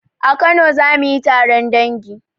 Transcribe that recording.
A kano zamuyi taron dangi